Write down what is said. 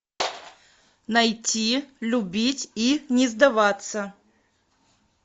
найти любить и не сдаваться